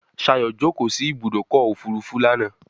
Shayo jókó sí Ibùdókọ̀ òfurufú lànà.